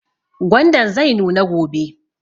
Gwandan zai nuna gobe